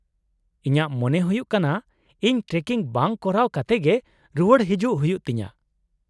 -ᱤᱧᱟᱹᱜ ᱢᱚᱱᱮ ᱦᱩᱭᱩᱜ ᱠᱟᱱᱟ ᱤᱧ ᱴᱨᱮᱠᱤᱝ ᱵᱟᱝ ᱠᱚᱨᱟᱣ ᱠᱟᱛᱮ ᱜᱮ ᱨᱩᱣᱟᱹᱲ ᱦᱮᱡᱩᱜ ᱦᱩᱭᱩᱜ ᱛᱤᱧᱟᱹ ᱾